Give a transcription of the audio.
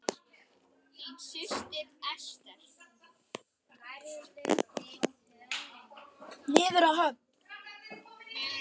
Niður að höfn.